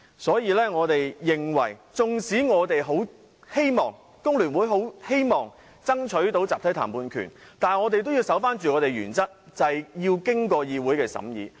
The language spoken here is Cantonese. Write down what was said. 所以，縱使工聯會十分希望爭取集體談判權，但我們也要堅守原則，便是這些事項必須經過議會審議。